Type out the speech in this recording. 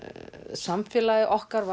samfélagið okkar